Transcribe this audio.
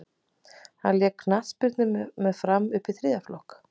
hann lék knattspyrnu með fram upp í þriðja flokk